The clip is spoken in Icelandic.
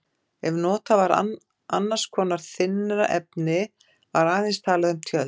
Ef notað var annars konar þynnra efni var aðeins talað um tjöld.